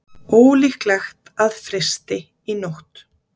Ólíklegt að frysti í nótt